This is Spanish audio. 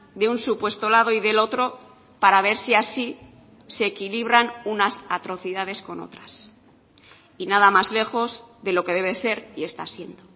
de un supuesto lado y del otro para ver si así se equilibran unas atrocidades con otras y nada más lejos de lo que debe ser y está siendo